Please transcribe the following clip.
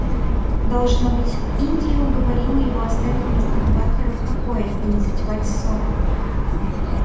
должно быть индия уговорила его оставить мистера батлера в покое и не затевать ссоры